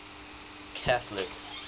catholic